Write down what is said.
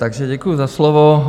Takže děkuji za slovo.